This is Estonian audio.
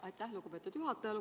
Aitäh, lugupeetud juhataja!